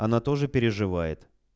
она тоже переживает